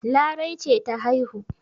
Larai ce ta haihu.